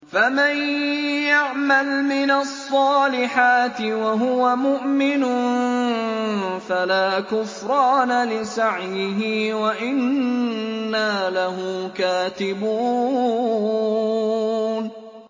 فَمَن يَعْمَلْ مِنَ الصَّالِحَاتِ وَهُوَ مُؤْمِنٌ فَلَا كُفْرَانَ لِسَعْيِهِ وَإِنَّا لَهُ كَاتِبُونَ